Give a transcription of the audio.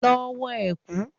Lọ wọ ẹ̀kú!